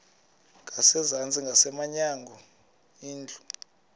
ngasezantsi ngasemnyango indlu